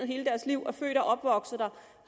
hele deres liv og er født og opvokset der